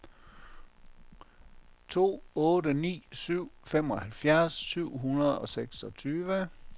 to otte ni syv femoghalvfems syv hundrede og seksogtyve